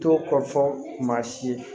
To kɔ fɔ maa si ye